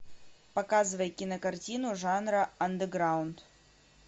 показывай кинокартину жанра андеграунд